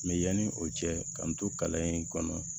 Mɛ yanni o cɛ ka nto kalan in kɔnɔ